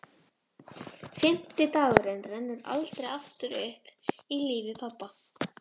Fimmti dagurinn rennur aldrei aftur upp í lífi pabba.